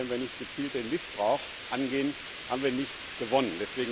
Aber wenn wir nicht gezielt den Missbrauch angehen, haben wir nichts gewonnen.